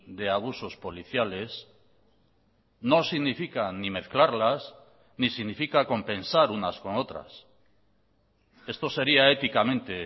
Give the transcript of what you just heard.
de abusos policiales no significa ni mezclarlas ni significa compensar unas con otras esto sería éticamente